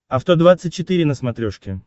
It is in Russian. авто двадцать четыре на смотрешке